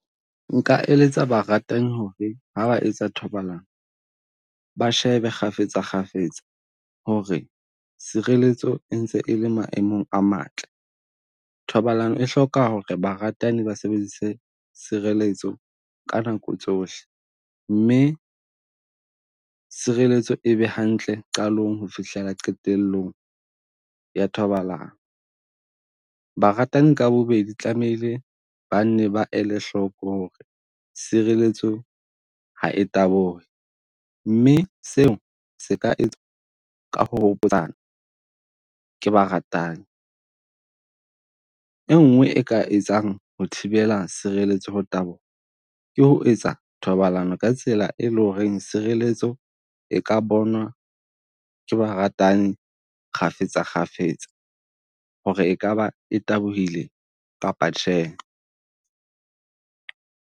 Nka eletsa ba ratang ho re ha ba etsa thobalano, ba shebe kgafetsa kgafetsa ho re sireletso e ntse e le maemong a matle. Thobalano e hloka ho re ba ratani ba sebedise sireletso ka nako tsohle, mme sireletso e be hantle qalong ho fihlela qetellong ya thobalano. Baratani ka bobedi tlamehile ba nne ba ele hloko ho re sireletso ha e tabohe. Mme seo se ka ka ho hopotsana ke baratani, e nngwe e ka etsang ho thibela sireletso ho taboha, ke ho etsa thobalano ka tsela e leng ho reng sireletso e ka bonwa ke baratani kgafetsa kgafetsa. Ho re e ka ba e tabohile kapa tjhe.